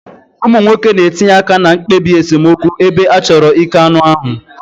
Ụmụ nwoke na-etinye aka na mkpebi esemokwu ebe a chọrọ ike anụ ahụ.